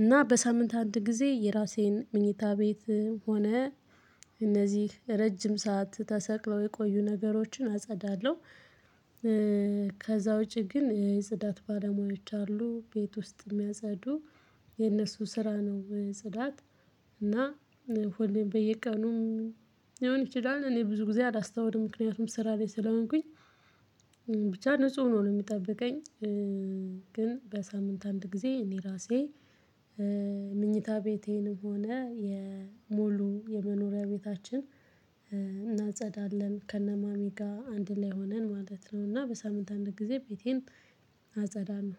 እና በሳምንት አንድ ጊዜ የራሴን ምኞታ ቤት ሆነ እነዚህ ረጅም ሰዓት ተሰቅለው የቆዩ ነገሮችን አጸዳለሁ። ከዛ ውጪ ግን የጽዳት ባለሙያዎች አሉ ቤት ውስጥ የሚያጸዱ የነሱ ስራ ነው ጽዳት። እና ሁሌም በየቀኑም ሊሆን ይችላል እኔ ብዙ ጊዜ አላስታውልም ምክንያቱም ስራ ላይ ስለሆንኩኝ ብቻ ንጹህ ነው ነው የምጠብቀኝ። ግን በሳምንት አንድ ጊዜ እኔ ራሴ ምኝታ ቤቴንም ሆነ የሞሉ የመኖሪያ ቤታችን እናጸዳለን ከነማሚ ጋር አንድ ላይ ሆነን ማለት ነው። እና በሳምንት አንድ ጊዜ ቤቴን አጸዳ ለው